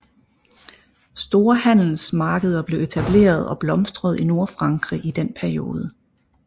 Store handelsmarkeder blev etableret og blomstrede i Nordfrankrig i denne periode